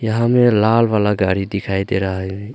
यहां में लाल वाला गाड़ी दिखाई दे रहा है।